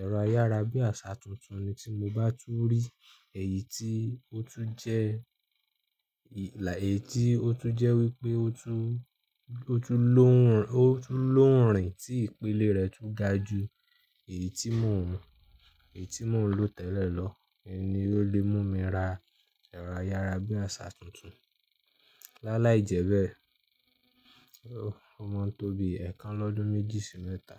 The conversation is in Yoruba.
ẹ̀rọ ayárabíàṣá tuntun ni tí mo bá tú rí èyí tí ó tún jẹ́, èyí tí ó tún jẹ́ wípé ó tún, ó tún lóhùn, ó tún lóhùn rìn tí ìpile rẹ tún da ju èyí tí mò ń, èyí tí mò ń lò tẹ́lẹ̀ lọ ni ó lè mú mi ra ẹ̀rọ ayárabíàṣá tuntun. Lá láì jẹ́ bẹ́ẹ̀, o máa ń tó bi ẹ̀kan lọ́dún méjì sí mẹ́ta.